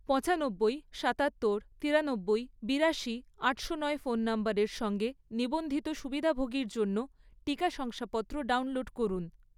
পঁচানব্বই, সাতাত্তর, তিরানব্বই, বিড়াশি, আটশো নয় ফোন নম্বরের সঙ্গে নিবন্ধিত সুবিধাভোগীর জন্য টিকা শংসাপত্র ডাউনলোড করুন।